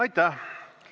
Aitäh!